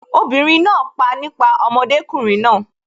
obìnrin náà pa nípa ọmọdékùnrin náà